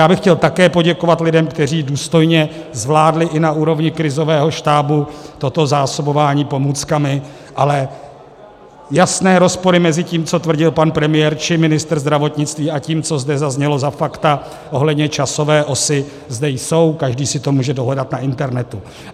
Já bych chtěl také poděkovat lidem, kteří důstojně zvládli i na úrovni krizového štábu toto zásobování pomůckami, ale jasné rozpory mezi tím, co tvrdil pan premiér či ministr zdravotnictví, a tím, co zde zaznělo za fakta ohledně časové osy, zde jsou, každý si to může dohledat na internetu.